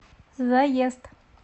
заезд